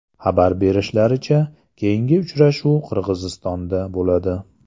Xabar berishlaricha, keyingi uchrashuv Qirg‘izistonda bo‘ladi .